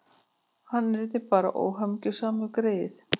Hann yrði bara óhamingjusamur, greyið.